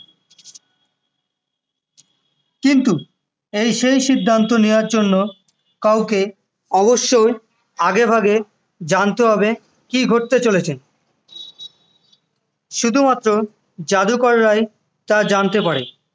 কিন্তু এই সেই সিদ্ধান্ত নেওয়ার জন্য কাউকে অবশ্যই আগেভাগে জানতে হবে কি ঘটতে চলেছে শুধুমাত্র জাদুকরেরই তা জানতে পারে